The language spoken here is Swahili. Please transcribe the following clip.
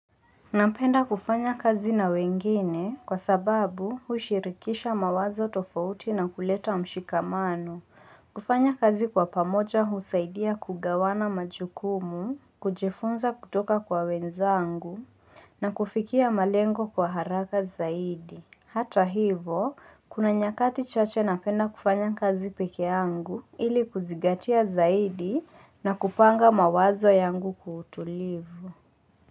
Napenda kufanya kazi na wengine kwa sababu huishirikisha mawazo tofauti na kuleta mshikamano, kufanya kazi kwa pamoja husaidia kugawana majukumu, kujifunza kutoka kwa wenzangu na kufikia malengo kwa haraka zaidi. Hata hivo, kuna nyakati chache napenda kufanya kazi pekee angu ili kuzingatia zaidi na kupanga mawazo yangu utulivu.